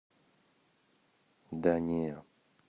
да не